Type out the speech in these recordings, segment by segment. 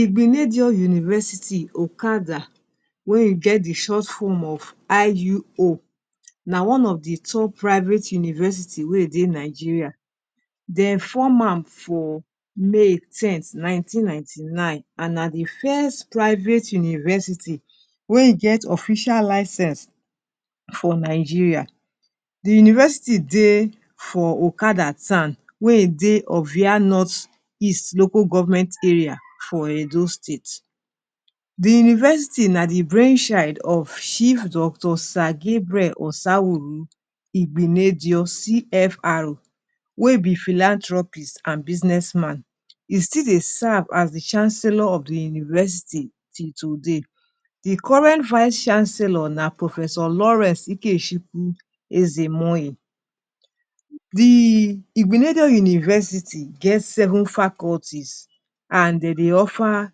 Igbenedion university okada wey e get di short form of IUO na one of de top private university wey e dey Nigeria. Dey form am for may ten th nineteen ninety nine and na de first private university wey e get official licence for Nigeria. De university dey for Okada town wey e dey Ovia North east Local Government Area for Edo State. De university na de brain child of chief Dr. Sir Gabriel Osawuru Igbenedion CFR wey be Philanthropist and business man. E still dey serve as de chancellor of the university till today. Di current Vice Chancellor na Prof. Lawrence Ikechukwu Ezemohi. Di igbenedion university get Seven faculties and dey dey offer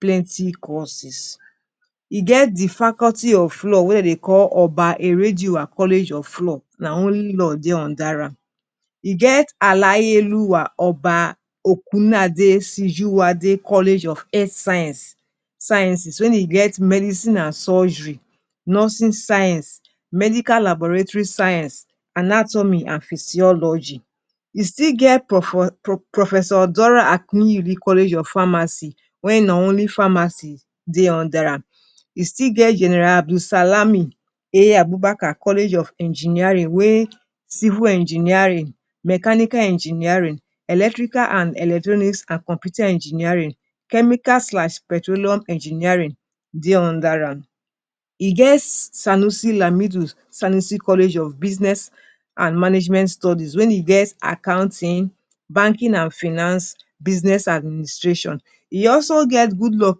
plenty courses e get di faculty of law wey dey dey call Oba Eredioha college of Law, na only law dey under am. E get Alayeoluwa Oba Okunade Sijuwade College of health sciences wen e get medicine and surgery, nursing science, medical laboratory science anatomy and physiology. E still get Prof Dora Akinyuli College of Pharmacy when na only pharmacy dey under am. E sti get general Adulsalami A. Abubakar College of engineering wey civil engineering, mechanical engineering, Electrical and electronics and computer engineering, chemical slash petroleum engineering dey under am. E get Sanusi Lamido Sanusi college of business and management studies when e get accounting, banking and finance business administration E also get Goodluck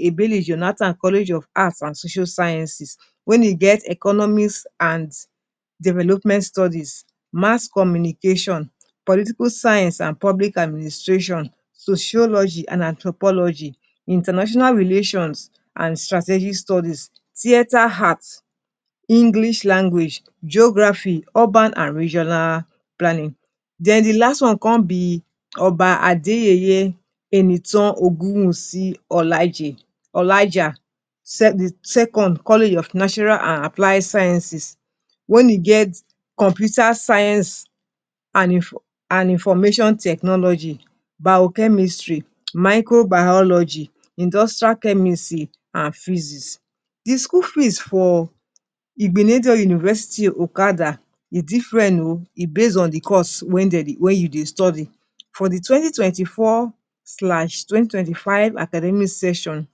Ebele Jonathan College of Art and social sciences wen e get economics and development studies, Mass Communication, political science and public administration, sociology and anthropology, international relations, and strategic studies, theater art, English language geography, urban and regional planning. Then di last one come be Oba Adeyeye Enitan Ogunwusi Olaije Olaija second College of natural and applied sciences wen e get computer science and information technology biochemistry microbiology industrial chemisy and physics. The school fees for Igbenedion University Okada e different oh. E base on de course wey you dey study. For de twenty twenty four slash twenty twenty five academic session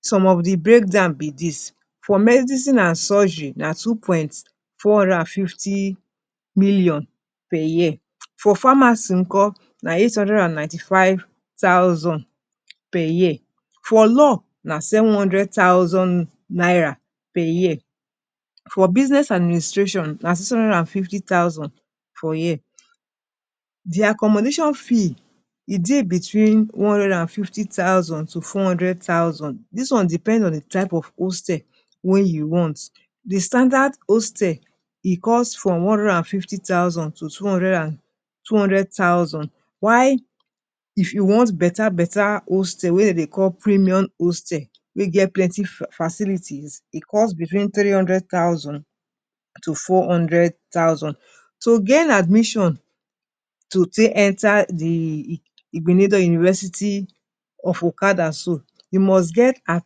some of di breakdown be this For medicine and surgery na two million point four hundred and fifty million per year For pharmacy nko na eight hundred and ninety five thousand per year For Law na seven hundred thousand naira per year For business administration na six hundred and fifty thousand for year Their accommodation fee, e dey between one hundred and fifty thousand to four hundred thousand dis one depend on di type of hostel wey you want. Di standard hostel e cost from one hundred and fifty thousand to two hundred an two hundred thousand naira while if you want beta beta hostel wey dem dey call premium hostel, wey get plenty facilities e cost between three hundred thousand naira to four hundred thousand. To gain admission to tae enter de Igbenedion University of Okada so you must get at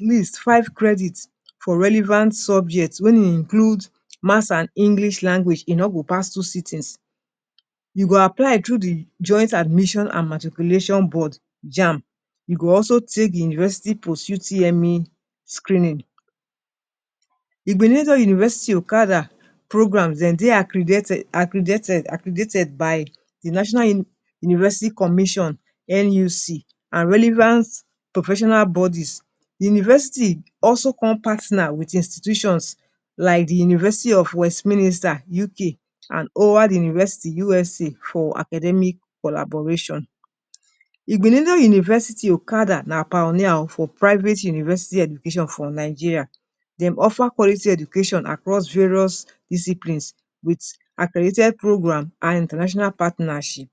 least five credit for relevant subjects wey include Maths and English language e no go pass two sittings. you go apply through di joint admission and matriculation Board Jamb. you go also take di university Post UTME screening. Igbenedion University Okada programmes dem dey accridated accridated by the National University Commission NUC and relevant professional bodies. Di University also come partner with de institutions like de University of west minister UK, and Howard University USA for Academic collaboration. Igbenedion university Okada na pioneer o for Private University education for Nigeria. Dem offer quality education across various disciplines with accredited programmes and international partnership